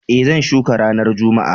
E, zan shuka ranar Juma'a.